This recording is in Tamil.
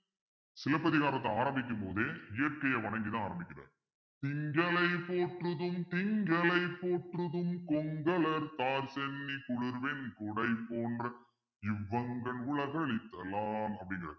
சிலப்பதிகாரத்தை ஆரம்பிக்கும்போது இயற்கையை வணங்கிதான் ஆரம்பிக்கிறாரு திங்களை போற்றுதும் திங்களை போற்றுதும் கொங்கலர்த்தார்ச் சென்னி குளிர் வெண் குடைபோன்றிவ் வங்கண் உலகுஅளித்த லான் அப்படின்றாரு